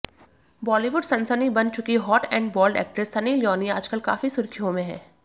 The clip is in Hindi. बॉलीवुड सनसनी बन चुकी hot and bold actress Sunny Leone आजकल काफी सुर्खियों में हैं